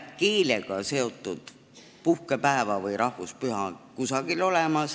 Keelega seotud puhkepäeva või rahvuspüha ei ole kusagil.